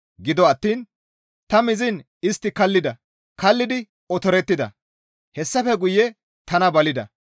Gido attiin ta miziin istti kallida; kallidi otorettida; hessafe guye tana balida.